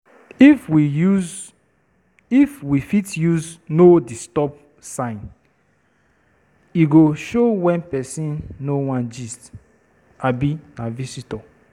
If we fit use “no disturb” sign, e go show wen person no wan gist abi na visitor.